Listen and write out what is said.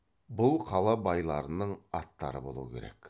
бұл қала байларының аттары болу керек